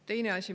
Teine asi.